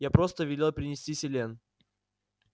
я просто велел принести селен